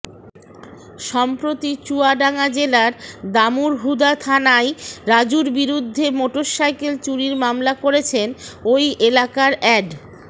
সম্প্রতি চুয়াডাঙ্গা জেলার দামুড়হুদা থানায় রাজুর বিরুদ্ধে মোটরসাইকেল চুরির মামলা করেছেন ওই এলাকার অ্যাড